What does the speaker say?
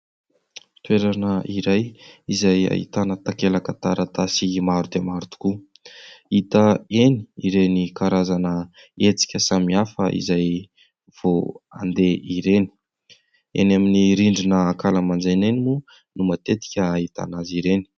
Toerana iray izay ahitana takelaka taratasy maro dia maro tokoa, hita eny ireny karazana hetsika samihafa izay vao handeha ireny, eny amin'ny rindrina ankalamanjana eny moa no matetika ahitana azy ireny.